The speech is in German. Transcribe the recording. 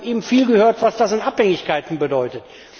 Wir haben eben viel davon gehört, was das an Abhängigkeiten bedeutet.